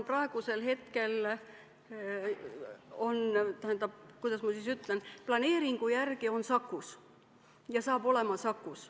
Uue ameti peakorter hakkab praeguse kava järgi olema Sakus.